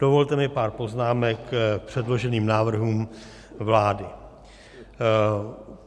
Dovolte mi pár poznámek k předloženým návrhům vlády.